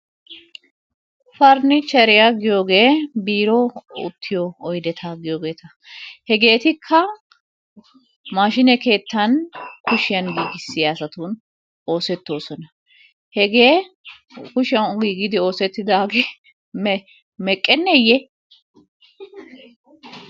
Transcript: Pariniichcheriya giyogee biiruwan uttiyo oydeta giyogeeta. Hegeetikka maashine keettan kushiyan giigissiya asatun oosettoosona. Hegee kushiyan giigidi oosettidaagee meqqenneeyye?